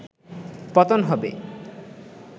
পতন হবে